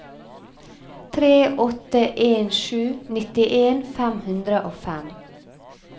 tre åtte en sju nittien fem hundre og fem